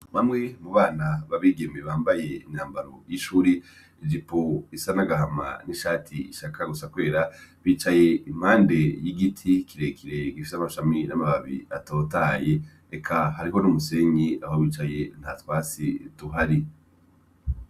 Bamwe mu bana b'abigeme bambaye imyambaro y'ishuri, ijipo isa n'agahama n'ishati ishaka gusa kwera, bicaye impande y'igiti kirekire gifise amashami n'amababi atotahaye, eka hariho n'umusenyi aho bicaye nta twatsi tuhari.